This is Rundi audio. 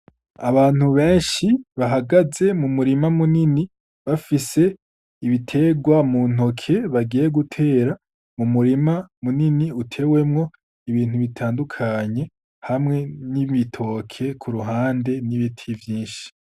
Abantu benshi bahagaze mu murima munini, bafise ibiterwa mu ntoke bagiye gutera mu murima munini utewemwo ibintu bitandukanye, hamwe n’ibitoke ku ruhande n’ibiti vyinshi.